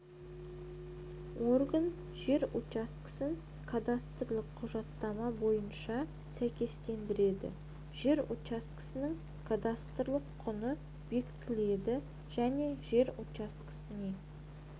органы жер учаскесін кадастрлық құжаттама бойынша сәйкестендіреді жер учаскесінің кадастрлық құнын бекітеді және жер учаскесіне